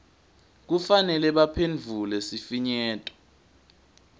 kufanele baphendvule sifinyeto